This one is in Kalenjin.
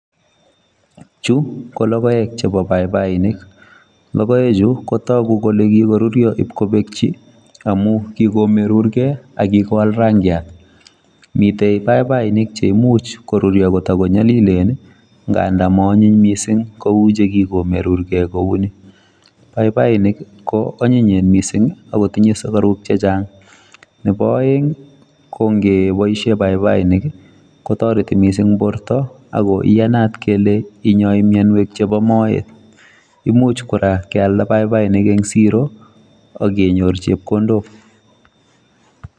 Chu ko logoek chepo paipainik, logoechu kotog kole kokoruryo ipkopekchi amu kikomerurgei akikowal rangiat. Mite paipainik cheimuch koruryo kotakonyolilen nganda maonyiny mising kou chekikomerurgei kouni. Paipainik ko onyinyen mising akotinye sugaruk chechang, nepo oeng ko ngepoishe paipainik kotinye kotoreti mising borto ako iyanat kele inyoi mienwek chepo moet. Imuch kora kealda paipainik eng siro akenyor chepkondok.